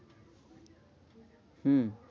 হম